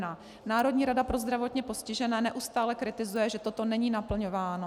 Národní rada pro zdravotně postižené neustále kritizuje, že toto není naplňováno.